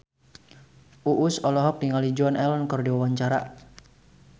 Uus olohok ningali Joan Allen keur diwawancara